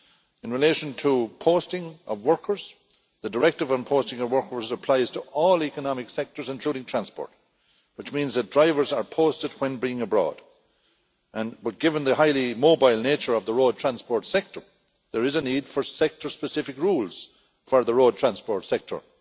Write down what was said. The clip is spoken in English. In relation to the posting of workers, the Posting Directive applies to all economic sectors including transport, which means that drivers are posted when being abroad, but given the highly mobile nature of the road transport sector, there is a need for sector specific rules for the road transport sector.